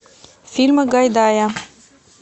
фильмы гайдая